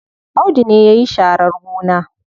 Audu ne yayi sharar gona.